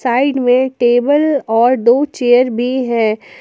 Side में table और दो चेयर भी है।